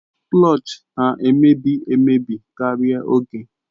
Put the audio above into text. Klọch na-emebi emebi karịa oge